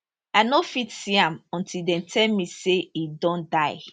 i no fit see am until dem tell me say e don die